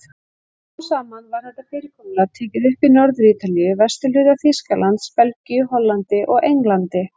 Smám saman var þetta fyrirkomulag tekið upp í Norður-Ítalíu, vesturhluta Þýskalands, Belgíu, Hollandi og Englandi.